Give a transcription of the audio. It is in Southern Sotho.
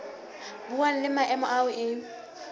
buang le maemo ao e